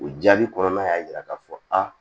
O jaabi kɔnɔna y'a jira k'a fɔ aa